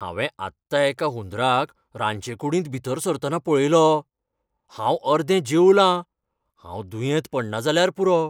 हांवें आत्तां एका हुंदराक रांदचेकुडींत भितर सरतना पळयलो. हांव अर्दे जेवलां, हांव दुयेंत पडना जाल्यार पुरो.